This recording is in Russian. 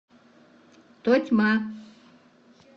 тотьма